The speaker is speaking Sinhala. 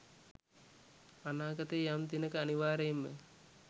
අනාගතයේ යම් දිනක අනිවාර්යයෙන්ම